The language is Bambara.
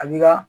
A b'i ka